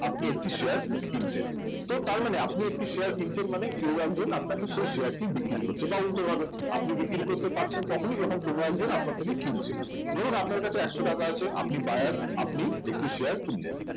আপনি একটি share কিনছেন তো তার মানে আপনি একটি share কিনছেন মানে কেউ একজন আপনাকে সেই share টি বিক্রি করছে বা উল্টো ভাবে আপনি বিক্রি করতে পারছেন তখনই যখন কোন একজন আপনার থেকে কিনছে ধরুন আপনার কাছে একশো টাকা আছে আপনি buyer আপনি একটি share কিনলেন